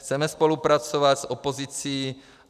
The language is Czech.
Chceme spolupracovat s opozicí.